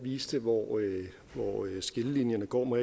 viste hvor skillelinjerne går må